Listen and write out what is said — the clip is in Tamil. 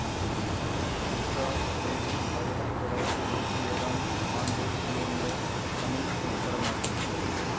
துர்க்கா தேவி ஆயிரத்தி தொள்ளாயிரத்தி எழுவத்தி ஏழாம் ஆண்டு வெளிவந்த தமிழ் திரைப்படமாகும்